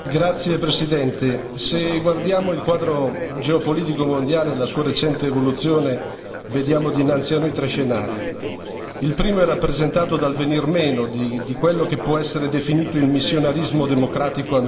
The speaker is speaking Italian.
Signor Presidente, onorevoli colleghi, se guardiamo il quadro geopolitico mondiale e la sua recente evoluzione, vediamo dinanzi a noi tre scenari. Il primo è rappresentato dal venir meno di quello che può essere definito il missionarismo democratico americano.